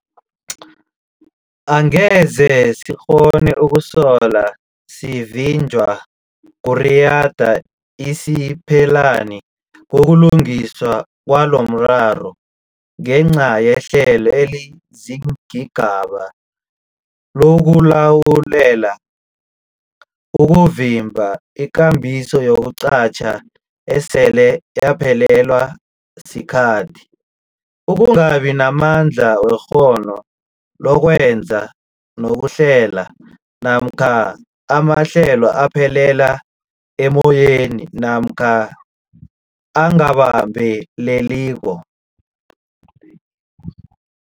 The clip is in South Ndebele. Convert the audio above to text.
Angeze sikghone ukusolo sivinjwa kuriyada isiphelani koku lungiswa kwalomraro ngenca yehlelo eliziingabagaba lokulawulela ukuvimba, ikambiso yokuqatjha esele yaphelelwa sikhathi, ukungabi namandla wekghono lokwenza nokuhlela, namkha amahlelo aphelela emmoyeni namkha angabambeleliko.